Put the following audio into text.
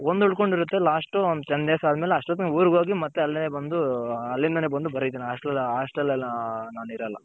ಒಂದು ಉಳ್ಕೊಂಡಿರುತ್ತೆ last one ten days ಆದ್ಮೇಲೆ ಅಷ್ಟೊತ್ಕೆ ನಾನು ಊರ್ಗ್ ಹೋಗಿ ಮತ್ತೆ ಅಲ್ಲಿಂದಾನೆ ಬಂದು ಬರೀತೀನಿ Hostel ನಲ್ಲಿ ನಾನಿರಲ್ಲ.